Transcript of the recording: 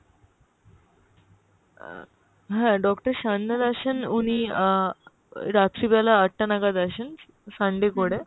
আহ হ্যাঁ Doctor সান্যাল আসেন উনি আহ রাত্রি বেলা আটটা নাগাদ আসেন Sunday করে,